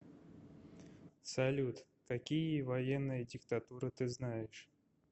салют какие военная диктатура ты знаешь